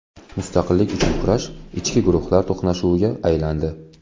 Mustaqillik uchun urush ichki guruhlar to‘qnashuviga aylandi.